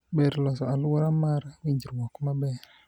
ber loso aluora mar winjruok maber